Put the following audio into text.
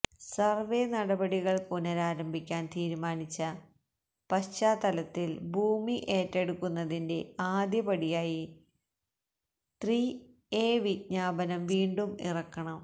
survey നടപടികള് പുനരാരംഭിക്കാന് തീരുമാനിച്ച പശ്ചാത്തലത്തില് ഭൂമി ഏറ്റെടുക്കുന്നതിന്റെ ആദ്യപടിയായി ത്രി എ വിജ്ഞാപനം വീണ്ടും ഇറക്കണം